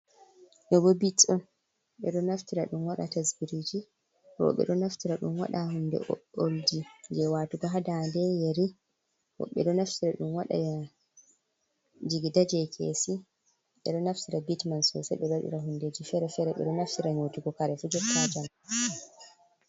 Ɗo bo bit on ɓe ɗo naftira ɗum wada tasbirji, roɓe ɗo naftira ɗum waɗa hunde o’olji jewatuga ha dande yari moe do naftira dun wad jii daje kesi ɓero naftira bit man sosei waɗiira hundeji fere fere ɓeɗo naftira nyautigo karefi jettotan.